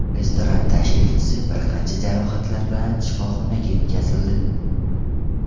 Restoran tashrifchisi bir qancha jarohatlar bilan shifoxonaga yetkazildi.